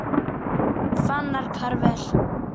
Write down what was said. Fannar Karvel.